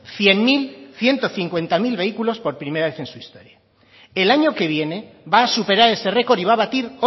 cien mil ciento cincuenta mil vehículos por primera vez en su historia el año que viene va a superar este record y va a batir